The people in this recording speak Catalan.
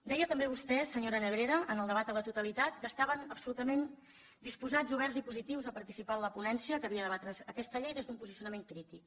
deia també vostè senyora nebrera en el debat a la totalitat que estaven absolutament disposats oberts i positius a participar en la ponència que havia de debatre aquesta llei des d’un posicionament crític